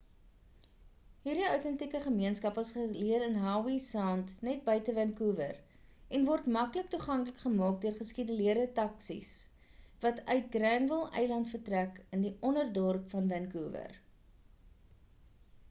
hierdie outentieke gemeenskap is geleë in howe sound net buite vancouver en word maklik toeganklik gemaak deur geskeduleerde taksies wat uit granville eiland vertrek in die onderdorp van vancouver